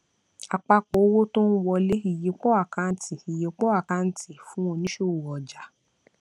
àpapọ owó tó ń wọlé ìyípo àkáǹtì ìyípo àkáǹtì fún onísòwò ọjà